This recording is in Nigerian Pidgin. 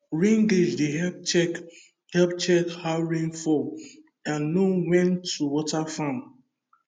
rain gauge dey help check help check how rain fall and know when to water farm